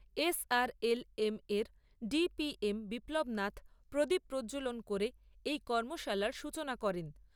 SRLM এর DPM Biplab Nath প্রদীপ প্রজ্জ্বলন করে এই কর্মশালার সূচনা করেন।